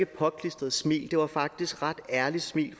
påklistret smil det var faktisk et ret ærligt smil